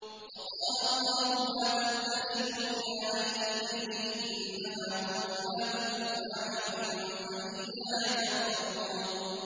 ۞ وَقَالَ اللَّهُ لَا تَتَّخِذُوا إِلَٰهَيْنِ اثْنَيْنِ ۖ إِنَّمَا هُوَ إِلَٰهٌ وَاحِدٌ ۖ فَإِيَّايَ فَارْهَبُونِ